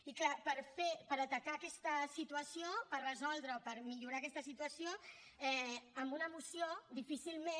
i clar per atacar aquesta situació per resoldre o per millorar aquesta situació amb una moció difícilment